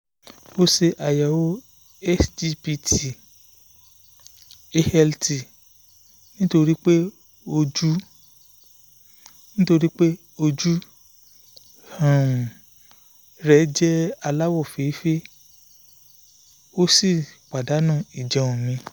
ó ṣe ayẹwo sgpt/alt nítorí pé ojú nítorí pé ojú um rẹ̀ jẹ́ aláwọ̀ feefee ó sì pàdánù ìjẹun mi